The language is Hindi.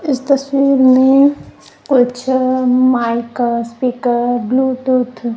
इस तस्वीर में कुछ माइक स्पीकर ब्लूटूथ --